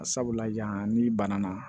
Sabula yan ni bana na